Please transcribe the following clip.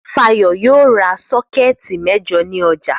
Fayọ̀ yóò ra sọ́kẹ́tì mẹ́jọ ní ọjà.